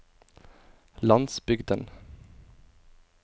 landsbygden